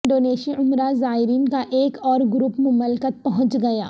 انڈونیشی عمرہ زائرین کا ایک اور گروپ مملکت پہنچ گیا